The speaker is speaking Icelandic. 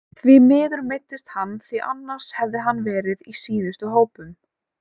Því miður meiddist hann því annars hefði hann verið í síðustu hópum.